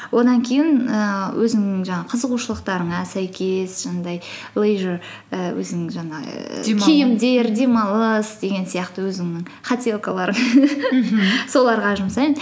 одан кейін ііі өзіңнің жаңағы қызығушылықтарыңа сәйкес жаңағыдай лейжер і өзіңнің жаңағы демалыс деген сияқты өзіңнің хотелкаларың соларға жұмсаймын